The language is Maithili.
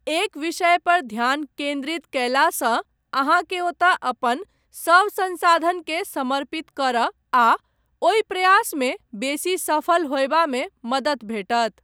एक विषय पर ध्यान केन्द्रित कयलासँ अहाँकेँ ओतय अपन सभ संसाधनकेँ समर्पित करय आ ओहि प्रयासमे बेसी सफल होयबा मे मदति भेटत।